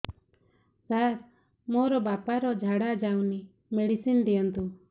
ସାର ମୋର ବାପା ର ଝାଡା ଯାଉନି ମେଡିସିନ ଦିଅନ୍ତୁ